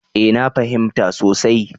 Eh na fahimta sosai.